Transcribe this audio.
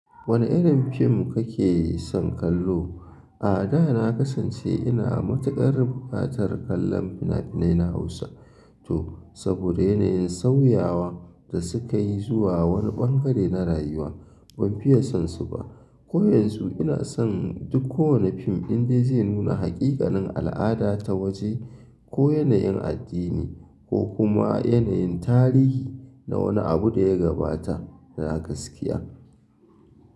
Wane irin fim kake son kallo? A da na kasance ina matuƙar buƙatar kallon fina-finai na Hausa to saboda yanayin sauyawa da suka yi zuwa wani ɓangare na rayuwa ban fiye son su ba. Ko yanzu ina son duk kowane fim inda zai nuna haƙiƙanin al'ada ta waje ko yanayin addini ko kuma yanayin tarihi na wani abu da ya gabata na gaskiya.